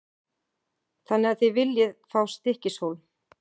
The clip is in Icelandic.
Þannig að þið viljið fá Stykkishólm?